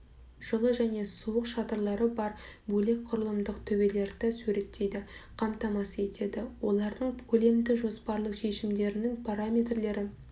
жылы және суық шатырлары бар бөлек құрылымдық төбелерді суреттейді қамтамасыз етеді олардың көлемді жоспарлы шешімдерінің параметрлері